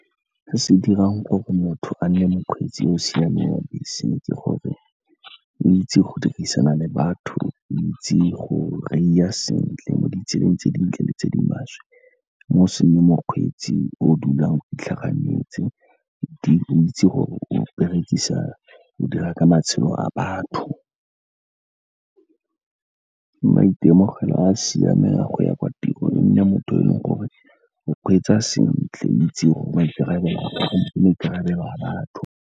Se se dirang gore motho a nne mokgweetsi yo o siameng wa bese ke gore o itse go dirisana le batho, o itse go reiya sentle mo ditseleng tse dintle le tse di maswe. Mme e se mokgweetsi yo o dulang a itlhaganetse, o itse gore o dira ka matshelo a batho. Maitemogelo a a siameng a go ya kwa tirong, e nne motho yo o kgweetsa sentle, o itse maikarabelo a batho.